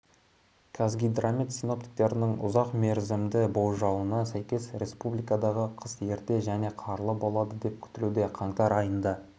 қазгидромет синоптиктерінің ұзақ мерзімді болжауына сәйкес республикадағы қыс ерте және қарлы болады деп күтілуде қаңтар айында